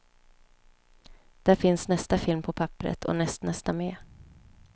Där finns nästa film på papperet och nästnästa med.